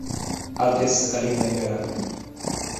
адрес соколиная гора